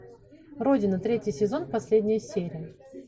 родина третий сезон последняя серия